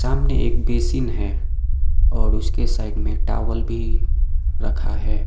सामने एक बेसिन है और उसके साइड में एक टाॅवल भी रखा है।